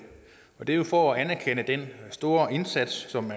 og det gør man for at anerkende den store indsats som